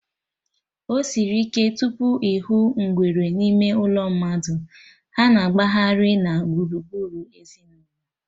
Osiri ike tupu ịhụ ngwere n'ime ụlọ mmadụ, ha na-agbaghari na gburugburu ezinụlọ